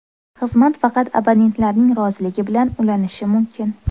Xizmat faqat abonentlarning roziligi bilan ulanishi mumkin.